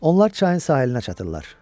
Onlar çayın sahilinə çatırlar.